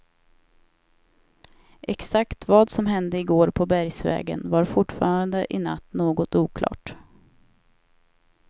Exakt vad som hände i går på bergsvägen var fortfarande i natt något oklart.